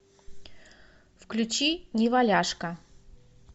включи неваляшка